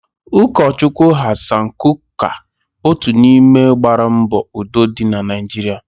Ụkọ Chukwu Hassan Kuka otu n'ime gbaara mbọ udo dị na Naijiria.